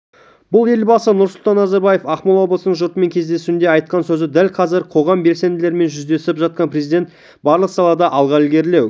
бұл елбасы нұрсұлтан назарбаевтың ақмола облысының жұртымен кездесуінде айтқан сөзі дәл қазір қоғам белсенділерімен жүздесіп жатқан президент барлық салада алға ілгерілеу